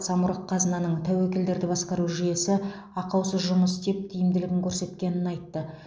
самұрық қазынаның тәуекелдерді басқару жүйесі ақаусыз жұмыс істеп тиімділігін көрсеткенін айтты